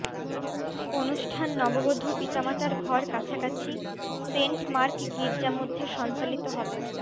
অনুষ্ঠান নববধূ পিতামাতার ঘর কাছাকাছি সেন্ট মার্ক গির্জা মধ্যে সঞ্চালিত হবে